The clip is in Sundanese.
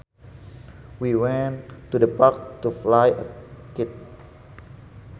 We went to the park to fly a kite